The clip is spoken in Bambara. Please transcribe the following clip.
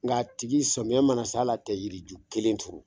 Nka a tigi samiya mana se al'a te yiriju kelen turu